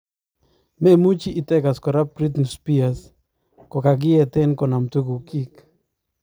memuchi itegas kora Britney Spears kagieten konam tugukyiig